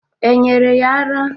E nyere ya ara?